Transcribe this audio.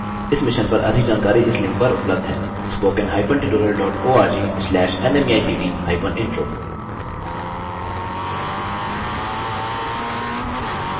इस मिशन पर अधिक जानकारी इस लिंक पर उपलब्ध हैspoken hyphen tutorial dot org slash nmeict hyphen intro